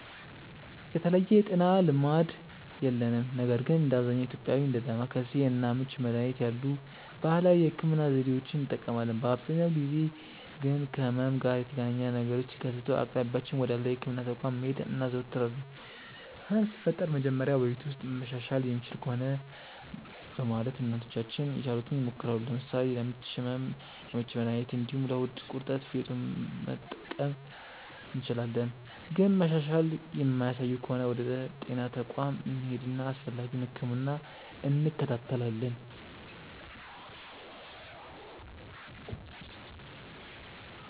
የተለየ የጤና ልማድ የለንም ነገር ግን እንደ አብዛኛው ኢትዮጵያዊ እንደ ዳማከሴ እና ምች መድሀኒት ያሉ ባህላዊ የህክምና ዘዴዎችን እንጠቀማለን። በአብዛኛው ጊዜ ግን ከህመም ጋር የተገናኘ ነገሮች ሲከሰቱ በአቅራቢያችን ወዳለው የህክምና ተቋም መሄድ እናዘወትራለን። ህመም ሲፈጠር መጀመሪያ በቤት ውስጥ መሻሻል የሚችል ከሆነ በማለት እናቶቻችን የቻሉትን ይሞክራሉ። ለምሳሌ ለምች ህመም የምች መድሀኒት እንዲሁም ለሆድ ቁርጠት ፌጦን መጥቀስ እንችላለን። ግን መሻሻል የማያሳዩ ከሆነ ወደ ጤና ተቋም እንሄድና አስፈላጊውን ህክምና እንከታተላለን።